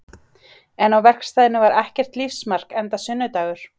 En á verkstæðinu var ekkert lífsmark enda sunnudagur.